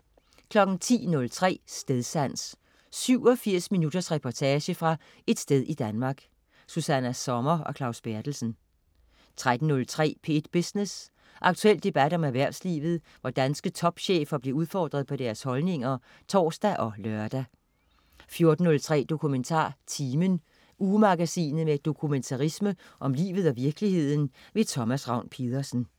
10.03 Stedsans. 87 minutters reportage fra et sted i Danmark. Susanna Sommer og Claus Berthelsen 13.03 P1 Business. Aktuel debat om erhvervslivet, hvor danske topchefer bliver udfordret på deres holdninger (tors og lør) 14.03 DokumentarTimen. Ugemagasinet med dokumentarisme om livet og virkeligheden. Thomas Ravn-Pedersen